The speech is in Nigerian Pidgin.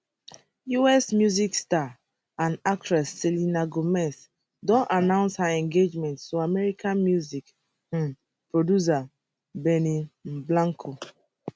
us music star and actress selena gomez don announce her engagement to american music um producer benny um blanco